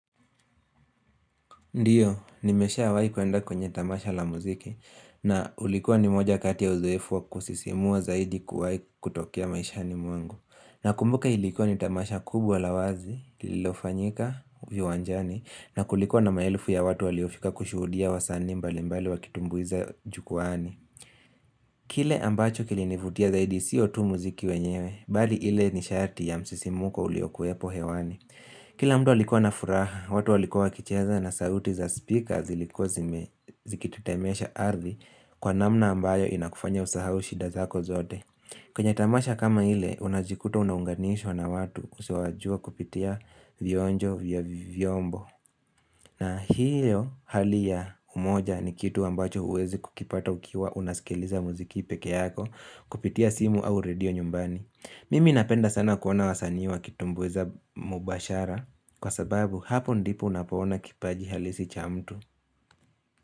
Ndiyo, nimeshawahi kuenda kwenye tamasha la muziki na ulikuwa ni moja kati ya uzoefu wa kusisimua zaidi kuwahi kutokea maishani mwangu. Nakumbuka ilikuwa ni tamasha kubwa la wazi, lililofanyika, viwanjani, na kulikuwa na maelfu ya watu waliofika kushuhudia wasani mbali mbali wakitumbuiza jukwani. Kile ambacho kilinivutia zaidi siyo tu muziki wenyewe, bali ile nishati ya msisimuko uliokuwepo hewani. Kila mtu alikua na furaha, watu walikua wakicheza na sauti za speaker ziliko zikitetemesha ardhi kwa namna ambayo inakufanya usahau shida zako zote. Kwenye tamasha kama ile, unajikuta unaunganishwa na watu usiowajua kupitia vionjo vya vyombo. Na hiyo hali ya umoja ni kitu ambacho huwezi kukipata ukiwa unaskiliza muziki peke yako kupitia simu au radio nyumbani. Mimi napenda sana kuona wasanii wakitumbuiza mubashara Kwa sababu hapo ndipo unapo ona kipaji halisi cha mtu.